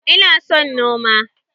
Ina son noma.